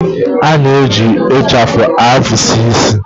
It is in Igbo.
A na-eji ịchafụ afusi isi.